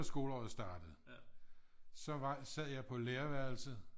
Skoleåret startede så var så sad jeg på lærerværelset